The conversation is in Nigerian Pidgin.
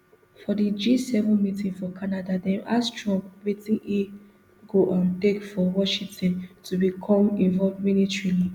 for di gseven meeting for canada dem ask trump wetin e go um take for washington to become involved militarily